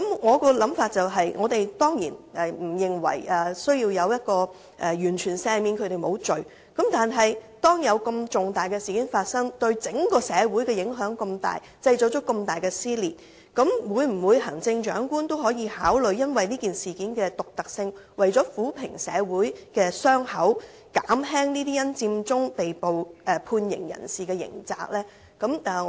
我的想法是，我們當然不認為需要完全赦免他們，但發生如此重大的事件，對整個社會有如此重大影響，製造出這麼大的撕裂，鑒於這事件的獨特性，以及為了撫平社會的傷口，行政長官可否考慮減輕這些因佔中被捕判刑人士的刑責？